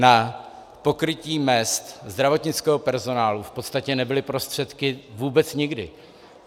Na pokrytí mezd zdravotnického personálu v podstatě nebyly prostředky vůbec nikdy.